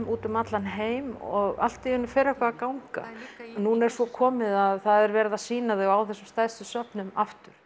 út um allan heim og allt í einu fer eitthvað að ganga nú er svo komið að það er verið að sýna þau á þessum stærstu söfnum aftur